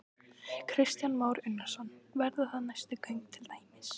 Kristján Már Unnarsson: Verða það næstu göng til dæmis?